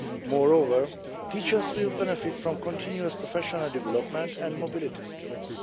Moreover, teachers will benefit from continuous professional development and mobility schemes.